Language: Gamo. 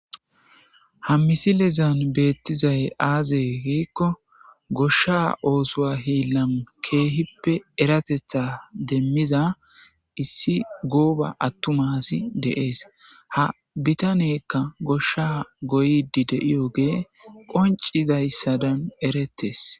Ha misilezan beettizay azee gikko gooshsha oosuwa hillan keehippe eerateththa demiza issi goobba attuma asi de'es ha bittaney gooyidii diyagan qonccidii eeretes